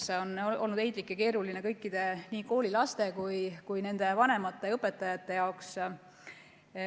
See on olnud heitlik ja keeruline kõikidele, nii koolilastele, nende vanematele kui ka õpetajatele.